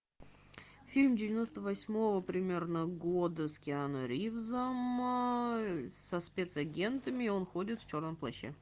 фильм девяносто восьмого примерно года с киану ривзом со спецагентами он ходит в черном плаще